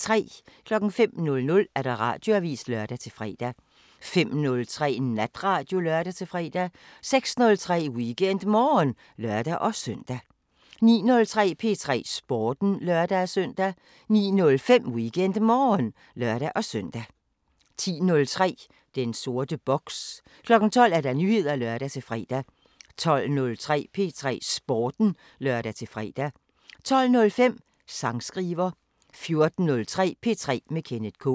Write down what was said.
05:00: Radioavisen (lør-fre) 05:03: Natradio (lør-fre) 06:03: WeekendMorgen (lør-søn) 09:03: P3 Sporten (lør-søn) 09:05: WeekendMorgen (lør-søn) 10:03: Den sorte boks 12:00: Nyheder (lør-fre) 12:03: P3 Sporten (lør-fre) 12:05: Sangskriver 14:03: P3 med Kenneth K